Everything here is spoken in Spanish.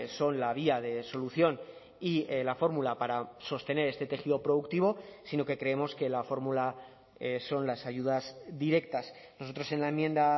son la vía de solución y la fórmula para sostener este tejido productivo sino que creemos que la fórmula son las ayudas directas nosotros en la enmienda